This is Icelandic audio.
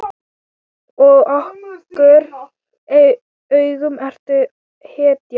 Í okkar augum ertu hetja.